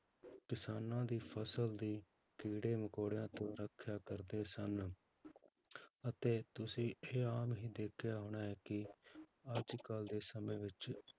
ਕਿਸਾਨਾਂ ਦੀ ਫਸਲ ਦੀ ਕੀੜੇ ਮਕੌੜਿਆਂ ਤੋਂ ਰੱਖਿਆ ਕਰਦੇ ਸਨ ਅਤੇ ਤੁਸੀਂ ਇਹ ਆਮ ਹੀ ਦੇਖਿਆ ਹੋਣਾ ਹੈ ਕਿ ਅੱਜ ਕੱਲ੍ਹ ਦੇ ਸਮੇਂ ਵਿੱਚ